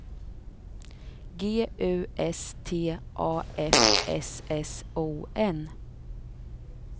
G U S T A F S S O N